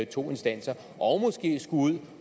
to instanser og måske skulle ud